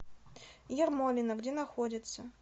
ермолино где находится